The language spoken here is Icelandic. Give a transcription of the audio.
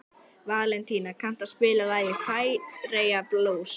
Valentína, kanntu að spila lagið „Færeyjablús“?